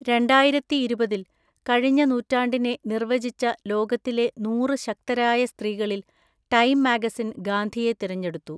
രണ്ടായിരത്തിഇരുപത്തിൽ, കഴിഞ്ഞ നൂറ്റാണ്ടിനെ നിർവചിച്ച ലോകത്തിലെ നൂറ് ശക്തരായ സ്ത്രീകളിൽ ടൈം മാഗസിൻ ഗാന്ധിയെ തിരഞ്ഞെടുത്തു.